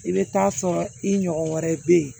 I bɛ taa sɔrɔ i ɲɔgɔn wɛrɛ bɛ yen